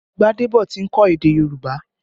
Gbadebo ti ń kọ́ èdè Yorùbá